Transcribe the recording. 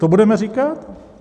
To budeme říkat?